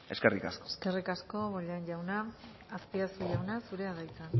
eskerrik asko eskerrik asko bollain jauna azpiazu jauna zurea da hitza